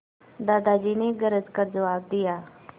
दादाजी ने गरज कर जवाब दिया